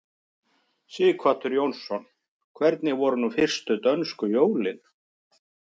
Sighvatur Jónsson: Hvernig voru nú fyrstu dönsku jólin?